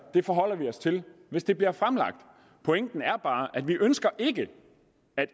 det forholder vi os til hvis det bliver fremlagt pointen er bare at vi ikke ønsker at